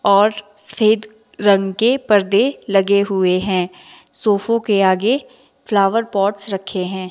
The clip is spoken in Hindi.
और सफेद रंग के परदे लगे हुए हैं सोफा के आगे फ्लावर पॉट्स रखे हैं।